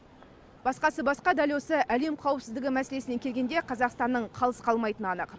басқасы басқа дәл осы әлем қауіпсіздігі мәселесіне келгенде қазақстанның қалыс қалмайтыны анық